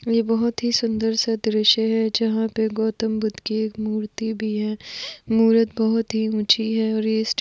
ये बहुत हि सुंदर सा दृश्य है जहा पे गौतम बुद्ध कि एक मूर्ती भी है मूर्त बहुत हि उंची है और ये स्ट --